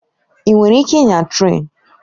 Ị nwere ike ịnya trén?